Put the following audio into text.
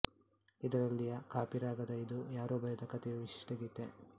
ಇದರಲ್ಲಿಯ ಕಾಪಿರಾಗದ ಇದು ಯಾರೋ ಬರೆದ ಕತೆಯೂ ವಿಶಿಷ್ಟ ಗೀತೆ